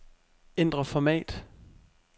Ændr format.